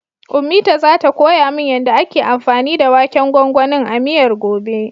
Ummita zata koya min yanda ake anfani da waken gwangwanin a miyar, gobe.